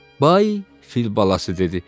Bay, fil balası dedi.